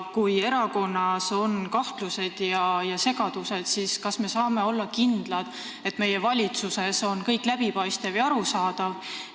Kui selles erakonnas on kahtlused ja segadused, siis kas me saame olla kindlad, et meie valitsuses on kõik läbipaistev ja arusaadav?